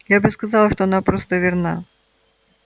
я бы сказала что она просто верна